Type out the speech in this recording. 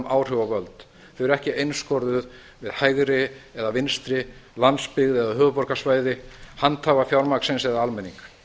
áhrif og völd þau eru ekki einskorðuð við hægri eða vinstri landsbyggð eða höfuðborgarsvæði handhafa fjármagnsins eða almenning